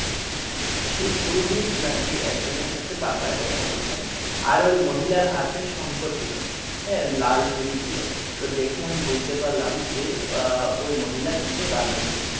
সেই পুরোহিত নাকি একজনের সাথে বাংলায় কথা বলেছেন আর ওই মহিলার হাতে শঙ্খ ছিল হ্যাঁ লাল চুরি ছিল তো দেখে আমি বুঝতে পারলাম যে আহ ওই মহিলা কিন্তু বাঙালি।